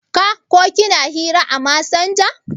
Ka/ ki na hira à masanja?